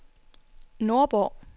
Nordborg